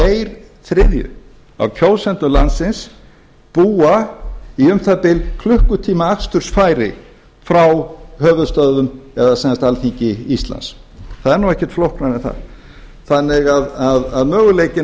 tveir þriðju af kjósendum landsins búa í um það bil klukkutíma akstursfæri frá höfuðstöðvum eða sem sagt alþingi íslands það er nú ekkert flóknara en það þannig að möguleikinn að